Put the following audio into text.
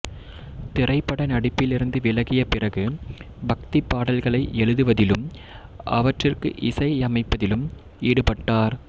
திரைப்பட நடிப்பிலிருந்து விலகிய பிறகு பக்திப் பாடல்களை எழுதுவதிலும் அவற்றிற்கு இசையமைப்பதிலும் ஈடுபட்டார்